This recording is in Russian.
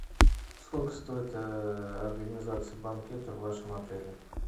сколько стоит организация банкета в вашем отеле